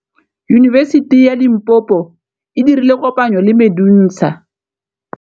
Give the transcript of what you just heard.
Yunibesiti ya Limpopo e dirile kopanyô le MEDUNSA.